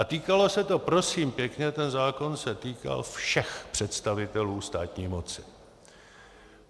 A týkalo se to prosím pěkně, ten zákon se týkal všech představitelů státní moci.